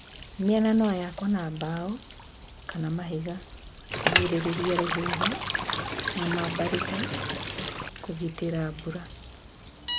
Mĩena noyakwo na mbao kana mahiga kugirĩrĩria rũhuho na mambarita kũgitĩra mbura.